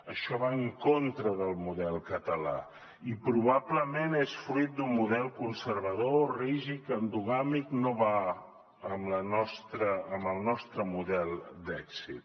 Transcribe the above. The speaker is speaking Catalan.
això va en contra del model català i probablement és fruit d’un model conservador rígid endogàmic no va amb el nostre model d’èxit